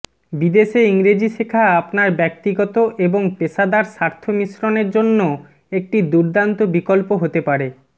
বিদেশে ইংরেজি শেখা আপনার ব্যক্তিগত এবং পেশাদার স্বার্থ মিশ্রণের জন্য একটি দুর্দান্ত বিকল্প হতে পারে